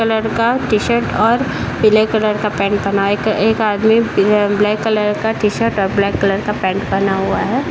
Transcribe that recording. colour का T-shirt और पिले कलर का पेंट पहना है | एक एक आदमी बिल ब्लैक कलर का टी-शर्ट और ब्लैक कलर का पेंट पहना हुआ है |